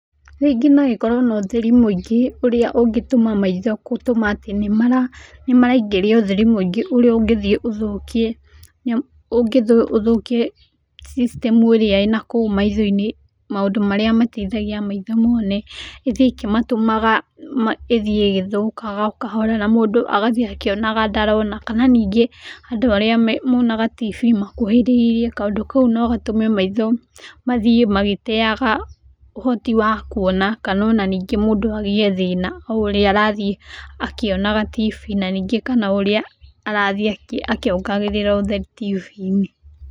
Rĩngĩ no ĩkorwo na ũtheri mũingĩ ũrĩa ũngĩtũma maitho gũtũma atĩ nĩ maraingĩria ũtheri mũingĩ ũrĩa ũngĩthiĩ ũthũkie system ĩrĩa ĩnakũu maitho-inĩ, maũndũ marĩa mateithagia maitho mone, ĩthiĩ ĩgĩtũmaga mathiĩ magĩthũkaga o kahora na mũndũ agathiĩ akĩonaga ndarona. Kana nĩngĩ andũ arĩa monaga tibii makuhĩrĩirie, kaũndũ kau no gatũme maitho mathiĩ magĩteyaga ũhoti wa kuona kana onaningĩ magĩe mathĩna o ũrĩa arathiĩ akĩonaga tibii kana ningĩ o ũrĩa arathiĩ akiongagĩrira ũtheri tibii-inĩ.